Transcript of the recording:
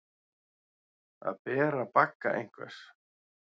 Að bera bagga einhvers